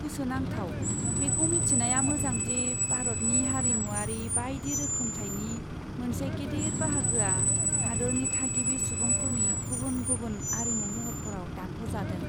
गोसोनांथाव! बेखौ मिथिनाया मोजां दि भारतनि हारिमुआरि बायदि रोखोमथायनि मोनसे गेदेर बाहागोआ हादोरनि थागिबि सुबुंफोरनि गुबुन गुबुन आरिमु महरफोराव दानख'जादों।